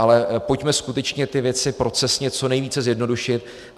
Ale pojďme skutečně ty věci procesně co nejvíce zjednodušit.